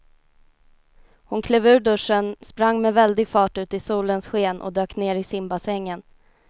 Hon klev ur duschen, sprang med väldig fart ut i solens sken och dök ner i simbassängen.